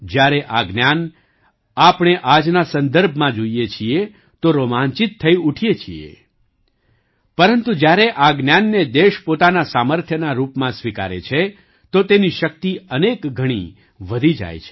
જ્યારે આ જ્ઞાન આપણે આજના સંદર્ભમાં જોઈએ છીએ તો રોમાંચિત થઈ ઊઠીએ છીએ પરંતુ જ્યારે આ જ્ઞાનને દેશ પોતાના સામર્થ્યના રૂપમાં સ્વીકારે છે તો તેની શક્તિ અનેક ગણી વધી જાચ છે